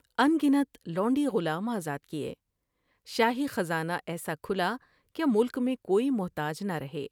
ان گنت لونڈی غلام آزاد کیے۔ شاہی خزانہ ایسا کھلا کہ ملک میں کوئی محتاج نہ رہے ۔